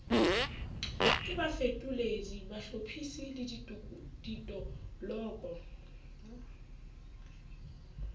ka bafetoledi bahlophisi le ditoloko